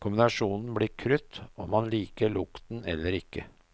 Kombinasjonen blir krutt, om man liker lukten eller ikke.